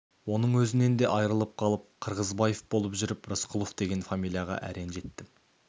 оның өзінен де айырылып қалып қырғызбаев болып жүріп рысқұлов деген фамилияға әрең жеттім